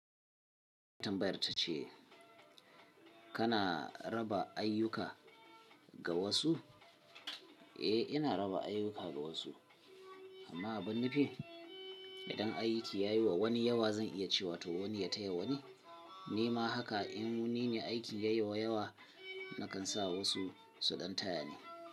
Tambayar ta ce kana raba ayyuka ga wasu? Eh ina raba ayyuka ga wasu amma a ban nufi idan aiki yayiwa wani yawa zan iya cewa to wani ya taya wani, ni ma haka in ni ne aikin ya yiwa yawa na kan sa wasu su ɗan taya ni.